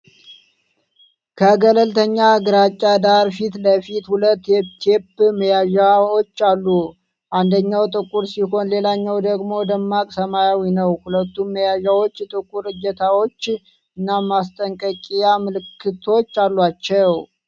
ከገለልተኛ ግራጫ ዳራ ፊት ለፊት ሁለት የቴፕ መያዣዎች አሉ። አንደኛው ጥቁር ሲሆን ሌላኛው ደግሞ ደማቅ ሰማያዊ ነው። ሁለቱም መያዣዎች ጥቁር እጀታዎች እና ማስጠንቀቂያ ምልክቶች አሏቸው።